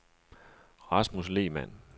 Rasmus Lehmann